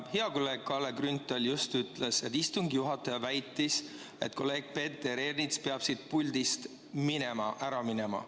Hea kolleeg Kalle Grünthal just ütles, et istungi juhataja väitis, et kolleeg Peeter Ernits peab siit puldist ära minema.